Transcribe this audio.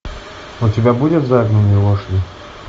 у тебя будет загнанные лошади